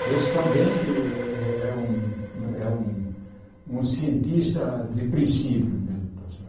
Que esse também é é é um é um um cientista de princípio mesmo, está certo?